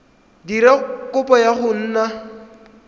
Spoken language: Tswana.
dira kopo ya go nna